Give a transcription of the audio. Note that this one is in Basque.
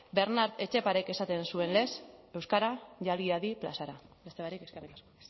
bernart etxeparek esaten zuen lez euskara jalgi hadi plazara beste barik eskerrik asko